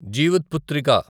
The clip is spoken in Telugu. జీవిత్పుత్రిక